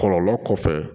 Kɔlɔlɔ kɔfɛ